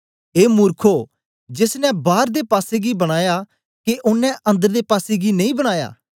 ए मूर्खो जेस ने बार दे पासेगी बनाया के ओनें अंदर दे पासेगी नेई बनाया